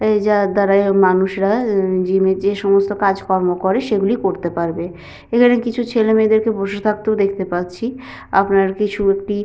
এই যার দ্বারা এ মানুষরা উ যেমনি যেসমস্ত কাজকর্ম করে সেগুলি করতে পারবে এখানে কিছু ছেলে মেয়েদেরকেও বসে থাকতেও দেখতে পাচ্ছি আপনার কিছু একটি--